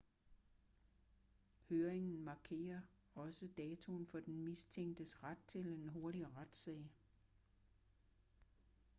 høringen markerer også datoen for den mistænktes ret til en hurtig retssag